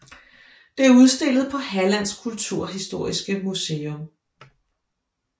Det er udstillet på Hallands kulturhistoriska museum